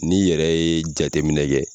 N'i yɛrɛ ye jateminɛ kɛ